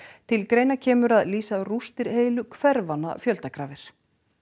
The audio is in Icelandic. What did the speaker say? til greina kemur að lýsa rústir heilu hverfanna fjöldagrafir